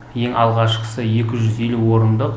ең алғашқысы екі жүз елу орындық